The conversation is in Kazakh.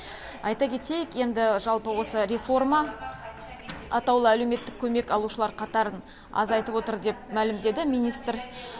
айта кетейік енді жалпы осы реформа атаулы әлеуметтік көмек алушылар қатарын азайтып отыр деп мәлімдеді министр